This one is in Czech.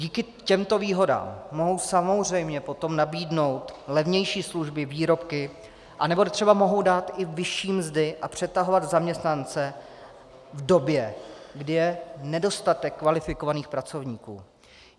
Díky těmto výhodám mohou samozřejmě potom nabídnout levnější služby, výrobky anebo třeba mohou dát i vyšší mzdy a přetahovat zaměstnance v době, kdy je nedostatek kvalifikovaných pracovníků.